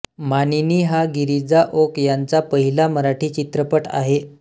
मानिनी हा गिरिजा ओक यांचा पहिला मराठी चित्रपट आहे